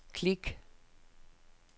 klik